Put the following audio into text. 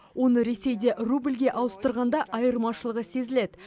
оны ресейде рубльге ауыстырғанда айырмашылығы сезіледі